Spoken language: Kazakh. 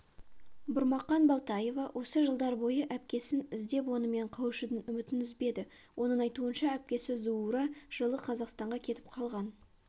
бұрмақан болтоева осы жылдар бойы әпкесіп іздеп онымен қауышудан үмітін үзбеді оның айтуынша әпкесі зуура жылы қазақстанға кетіп қалған